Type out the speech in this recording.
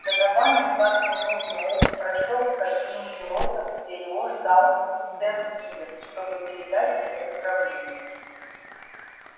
донован едва кивнув ему прошёл в кабину пилота где его ждал сэм ивенс чтобы передать ему управление